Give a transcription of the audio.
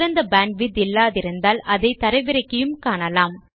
சிறந்த பேண்ட்விட்த் இல்லாதிருந்தால் அதை தரவிறக்கியும் காணலாம்